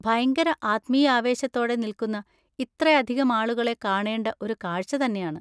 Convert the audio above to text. ഭയങ്കര ആത്മീയാവേശത്തോടെ നിൽക്കുന്ന ഇത്രയധികം ആളുകളെ കാണേണ്ട ഒരു കാഴ്ച്ച തന്നെയാണ്.